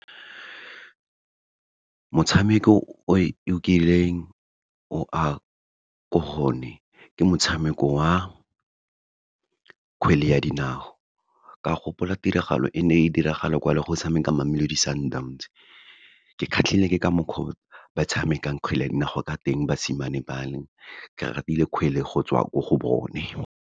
Motshameko o e kileng o a ko go one, ke motshameko wa kgwele ya dinao. Ka gopola tiragalo e ne e diragala kwa le go tshameka Mamelodi Sundowns, ke kgatlhile ke ka mokgwa o ba tshamekang kgwele ya dinao ka teng basimane ba le, ke ratile kgwele go tswa ko go bone.